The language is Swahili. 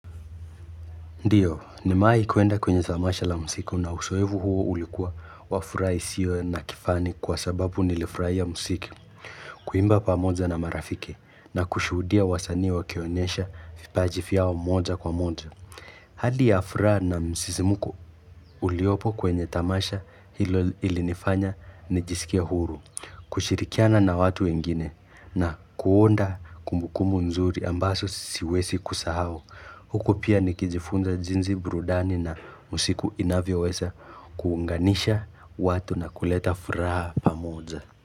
Ndio, nimewahi kuenda kwenye tamasha la muziki na uzoefu huo ulikuwa wa furaha isiyo na kifani kwa sababu nilifurahia muziki. Kuimba pamoja na marafiki na kushuhudia wasanii wakionyesha vipaji vyao moja kwa moja. Hali ya furaha na msisimuko uliopo kwenye tamasha hilo ilinifanya nijisikia huru. Kushirikiana na watu wengine na kuunda kumbukumbu nzuri ambazo siwezi kusahau. Huku pia nikijifunza jinsi burudani na usiku inavyoweza kuunganisha watu na kuleta furaha pamoja.